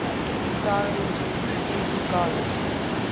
starring judy garland